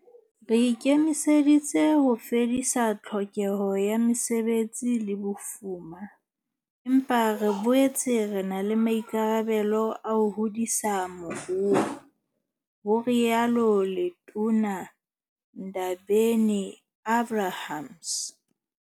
Re ikemiseditse ho fedisa tlhokeho ya mesebetsi le bofuma, empa re boetse re na le maikarabelo a ho hodisa moruo, ho rialo Letona Ndabeni-Abrahams.